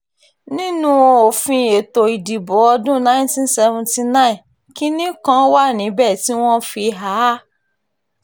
nínú òfin ètò ìdìbò ọdún 1979 kinní kan wà níbẹ̀ tí wọ́n fi há a